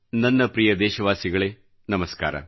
ನನ್ನ ಪ್ರಿಯ ದೇಶವಾಸಿಗಳೇ ನಮಸ್ಕಾರ